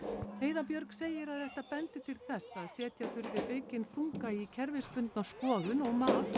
heiða Björg segir að þetta bendi til þess að setja þurfi aukinn þunga í kerfisbundna skoðun og mat og